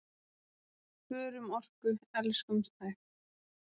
Spörum orku, elskumst hægt!